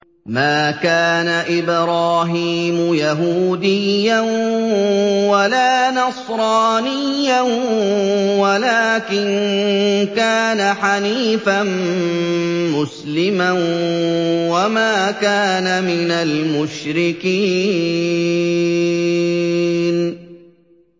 مَا كَانَ إِبْرَاهِيمُ يَهُودِيًّا وَلَا نَصْرَانِيًّا وَلَٰكِن كَانَ حَنِيفًا مُّسْلِمًا وَمَا كَانَ مِنَ الْمُشْرِكِينَ